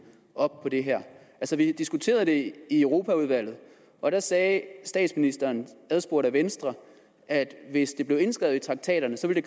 op på det her vi diskuterede det jo i europaudvalget og der sagde statsministeren adspurgt af venstre at hvis det blev indskrevet i traktaterne så ville